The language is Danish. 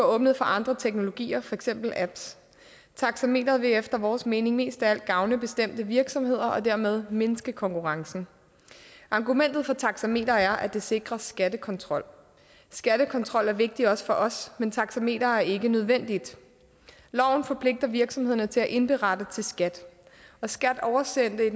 åbnet for andre teknologier for eksempel apps taxameteret vil efter vores mening mest af alt gavne bestemte virksomheder og dermed mindske konkurrencen argumentet for taxameteret er at det sikrer skattekontrol skattekontrol er vigtigt også for os men taxameteret er ikke nødvendigt loven forpligter virksomhederne til at indberette til skat og skat oversendte